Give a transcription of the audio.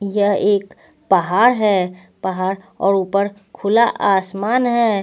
यह एक पहाड़ है पहाड़ और ऊपर खुला आसमान है.